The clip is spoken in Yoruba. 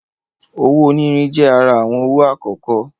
Owó onírin je àrà awọn owo akọkọ